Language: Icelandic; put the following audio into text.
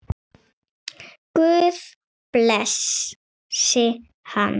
Guð blessi hann.